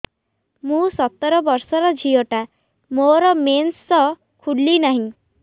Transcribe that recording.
ମୁ ସତର ବର୍ଷର ଝିଅ ଟା ମୋର ମେନ୍ସେସ ଖୁଲି ନାହିଁ